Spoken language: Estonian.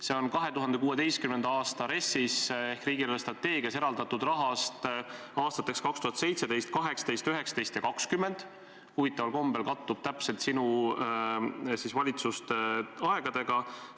See on kulutatud 2016. aasta RES-is ehk riigi eelarvestrateegias selleks eraldatud rahast aastateks 2017, 2018, 2019 ja 2020 – huvitaval kombel kattub see täpselt sinu valitsuste ajaga.